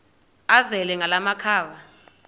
azele ngala makhaba